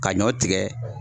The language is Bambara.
Ka ɲɔ tigɛ